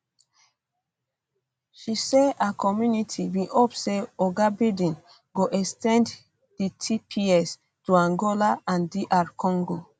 um she say her community bin hope say oga biden go ex ten d di tps to angola and um dr congo